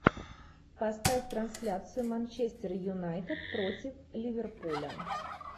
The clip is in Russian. поставь трансляцию манчестер юнайтед против ливерпуля